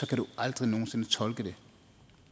kan du aldrig nogen sinde tolke det